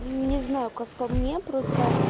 не знаю как по мне просто